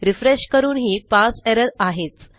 refresh करूनही पारसे error आहेच